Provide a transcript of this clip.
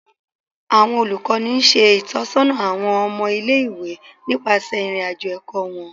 Awọn olukọni ṣe itọsọna awọn ọmọ ile-iwe nipasẹ irin-ajo ẹkọ wọn